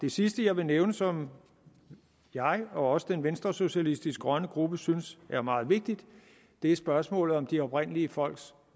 sidste jeg vil nævne som jeg og også den venstresocialistiske grønne gruppe synes er meget vigtigt er spørgsmålet om de oprindelige folks